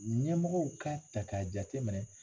Ɲɛmɔgɔw k'a ta k'a jateminɛ